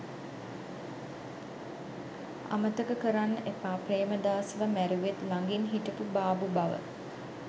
අමතක කරන්න එපා ප්‍රේමදාසව මැරුවෙත් ලඟින් හිටපු බාබු බව.